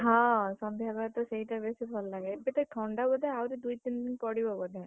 ହଁ, ସନ୍ଧ୍ୟାବେଳେ ତ ସେଇତ ବେଶୀ ଭଲ ଲାଗେ ଏବେ ଟିକେ ଥଣ୍ଡା ବୋଧେ ଆଉ ଦୁଇ ତିନି ଦିନ ପଡିବ ବୋଧେ।